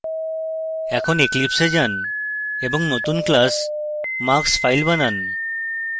এখন eclipse a যান এবং নতুন class marksfile বানান